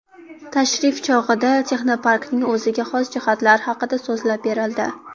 Tashrif chog‘ida texnoparkning o‘ziga xos jihatlari haqida so‘zlab berildi.